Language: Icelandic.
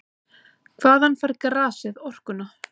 Hvaðan fær grasið orkuna?